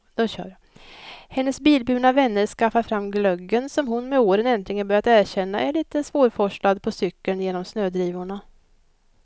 Hennes bilburna vänner skaffar fram glöggen som hon med åren äntligen börjat erkänna är litet svårforslad på cykeln genom snödrivorna.